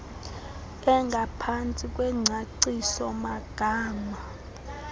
engaphantsi kwengcacio magama